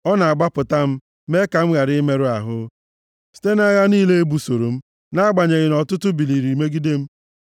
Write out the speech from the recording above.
Ọ na-agbapụta m, mee ka m ghara imerụ ahụ, site nʼagha niile e busoro m, nʼagbanyeghị nʼọtụtụ biliri megide m.